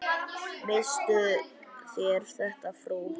Misstuð þér þetta, frú!